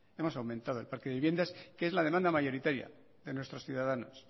hemos aumentado el parque de viviendas que es la demanda mayoritaria de nuestros ciudadanos